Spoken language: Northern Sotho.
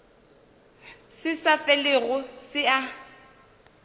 se sa felego se a